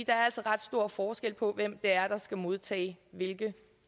er altså ret stor forskel på hvem det er der skal modtage hvilke